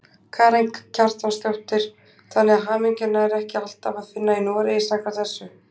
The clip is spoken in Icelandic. Karen Kjartansdóttir: Þannig að hamingjuna er ekki alltaf að finna í Noregi samkvæmt þessu?